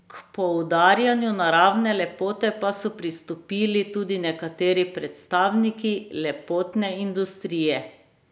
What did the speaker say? K poudarjanju naravne lepote pa so pristopili tudi nekateri predstavniki lepotne industrije.